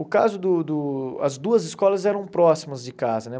O caso do do... As duas escolas eram próximas de casa, né?